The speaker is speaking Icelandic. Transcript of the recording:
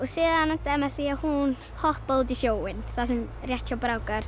síðan endaði með því að hún hoppaði út í sjóinn rétt hjá